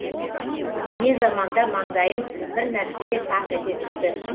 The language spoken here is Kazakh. не заманда маңдайым бір нәрсеге тақ ете түсті